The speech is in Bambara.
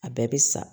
A bɛɛ bɛ sa